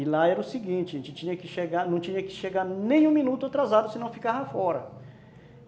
E lá era o seguinte, a gente não tinha que chegar , não tinha que chegar nem um minuto atrasado se não ficava fora.